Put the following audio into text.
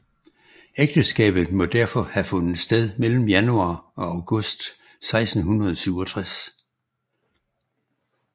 Ægteskabet må derfor have fundet sted mellem januar og august 1667